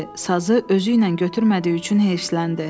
Sazı özü ilə götürmədiyi üçün heyfsiləndi.